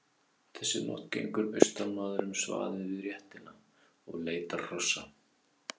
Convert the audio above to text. Þessa nótt gengur austanmaður um svaðið við réttina og leitar hrossa.